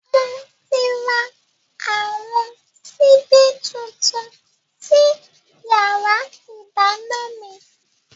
Moti ra àwọn síbí tuntun sí yàrá ìdáná mi